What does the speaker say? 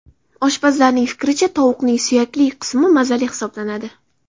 Oshpazlarning fikricha, tovuqning suyakli qismi mazali hisoblanadi.